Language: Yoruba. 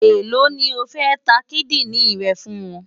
Èló ni o fẹ́ ta kídìrìn rẹ fún wọn?